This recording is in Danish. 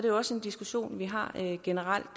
jo også en diskussion vi har generelt